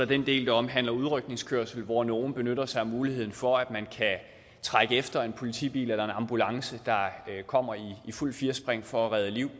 den del der omhandler udrykningskørsel hvor nogle benytter sig af muligheden for at man kan trække efter en politibil ambulance der kommer i fuldt firspring for at redde liv